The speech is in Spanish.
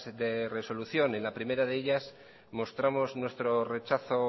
de resolución en la primera de ellas mostramos nuestro rechazo